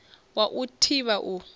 wa u i thivha u